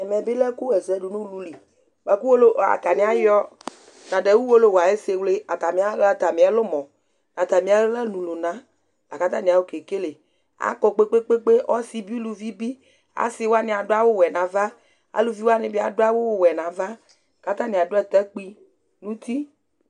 ɛmɛ bi lɛ ɛku ɣɛsɛdu n'ulu li, bʋa ku owolowu, ata ni ayɔ, nadu owolowu ayɛsɛ wle ata ni ayɔ ata miɛlumɔ nu ata mi aɣla nu lunala katani ayɔ kekele akɔkpekpekpe ɔsi bi uluvi bi, asi wʋani adu awu wɛ n'ava, aluvi wʋani bi adu awu wɛ n'ava katani adu atakpui n'uti